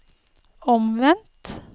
omvendt